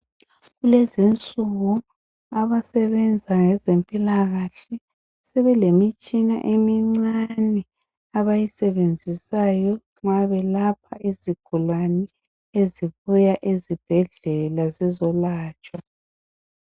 Kulezinsuku abasebenza ngezempilakahle sebelemitshina emincane abayisebenzisayo nxa belapha izigulane ezibuya ezibhedlela zizolatshwa.